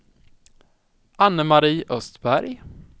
Anne-Marie Östberg